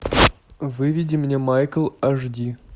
выведи мне майкл аш ди